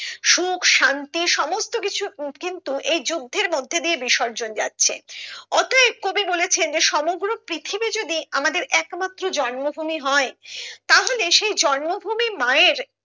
সুখ শান্তি সমস্ত কিছু উম কিন্তু এই যুদ্ধের মধ্যে দিয়ে বিসর্জন যাচ্ছে অতএব কবি বলেছেন যে সমগ্র পৃথিবী যদি আমাদের একমাত্র জন্ম ভূমি হয় তাহলে সেই জন্ম ভূমি মায়ের